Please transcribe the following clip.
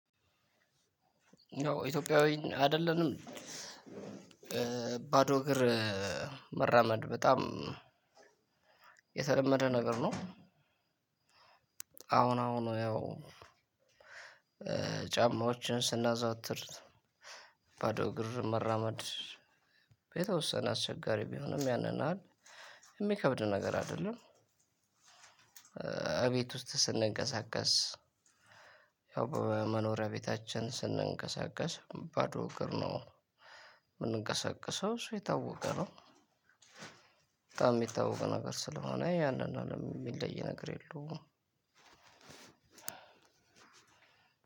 ኢትዮጵያዊ አይደለንም ባዶ እግር መራመድ በጣም የተለመደ ነገር ነው። አሁን አሁን ያው ጫማዎችን ስናዘወትር ባዶ እግር መራመድ በተወሰነ አስቸጋሪ ቢሆንም ያንን ያህል የሚከብድ ነገር አይደለም። እቤት ውስጥ ስንንቀሳቀስ ያው በመኖሪያ ቤታችን ስንንቀሳቀስ ባዶ እግር ነው የምንንቀሳቀሰው እሱ የታወቀ ነው። በጣም የሚታወቀው ነገር ስለሆነ ያንን ነው የሚለይ ነገር የለውም።